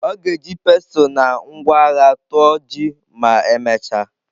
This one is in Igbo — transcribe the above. Ọ ga-eji pestle na ngwa agha tụọ ji ma emechaa.